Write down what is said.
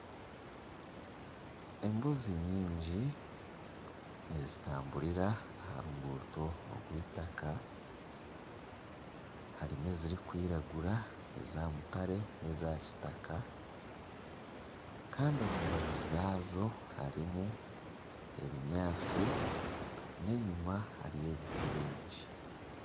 Embuzi nyingi nizitamburira aha ruguuto rwitaka. Harimu ezirikwiragura, eza mutare, neza kitaka kandi omu mbaju rwazo harimu ebinyaasti n'enyima hariyo ebiti bingi.